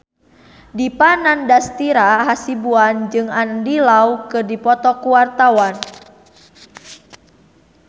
Dipa Nandastyra Hasibuan jeung Andy Lau keur dipoto ku wartawan